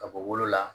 Ka bɔ wolo la